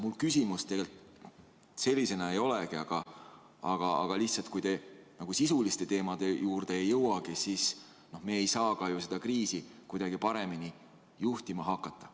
Mul küsimust tegelikult ei olegi, aga ütlen lihtsalt, et kui te sisuliste teemade juurde ei jõua, siis me ei saa ju ka seda kriisi kuidagi paremini juhtima hakata.